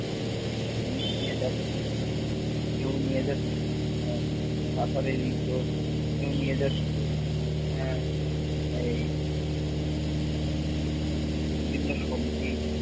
বিভিন্ন জিনিস নিয়ে যাচ্ছে। কেউ নিয়ে যাচ্ছে আহ কাঁঠালের ইঁচড়, কেউ নিয়ে যাচ্ছে আহ এই বিভিন্ন সবজি